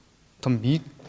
тым биік